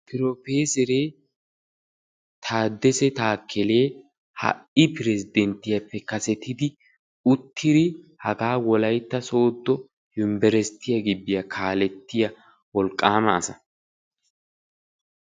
Piroofeseree taakele taadessee ha'i peresenttiyaappe kasettidi uttidi hagaa wolaytta sooddo yunburesittiyaa kaalettiyaa wolaqqaama asa.